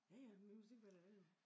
Ja ja men vi må se hvad det er jo